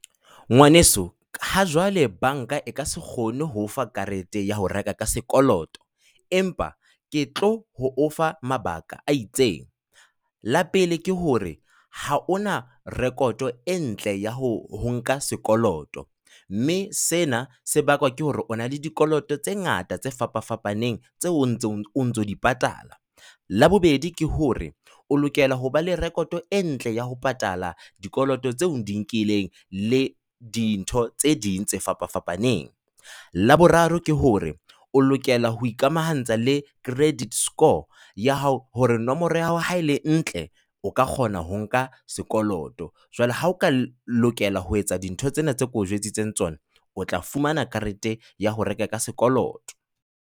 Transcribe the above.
Ngwaneso ha jwale banka e ka se kgone ho o fa karete ya ho reka ka sekoloto empa ke tlo ho ofa mabaka a itseng. La pele ke hore ha ona rekoto e ntle ya ho ho nka sekoloto, mme sena se bakwa ke hore o na le dikoloto tse ngata tse fapafapaneng tse o ntso o ntso di patala. Labobedi ke hore o lokela hoba le rekoto e ntle ya ho patala dikoloto tse o di nkileng le dintho tse ding tse fapafapaneng. Laboraro ke hore o lokela ho ikamahantsha le credit score ya hao hore nomoro ya hao ha ele ntle, o ka kgona ho nka sekoloto. Jwale ha o ka lokela ho etsa dintho tsena tse ke o jwetsitseng tsona, o tla fumana karete ya ho reka ka sekoloto.